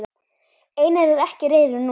Einar er ekki reiður núna.